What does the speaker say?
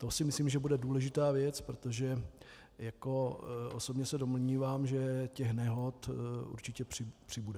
To si myslím, že bude důležitá věc, protože osobně se domnívám, že těch nehod určitě přibude.